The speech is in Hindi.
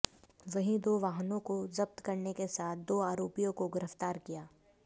वहीं दो वाहनों को जब्त करने के साथ दो आरोपियों को गिरफ्तार किया